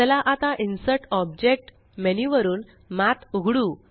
चला आता insert object menu वरुन मठ उघडू